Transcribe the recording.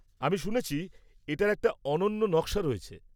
আমি শুনেছি এটার একটি অনন্য নকশা রয়েছে।